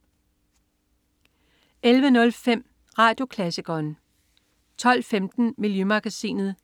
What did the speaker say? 11.05 Radioklassikeren 12.15 Miljømagasinet*